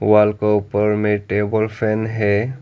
Wall का ऊपर मे टेबल फैन है।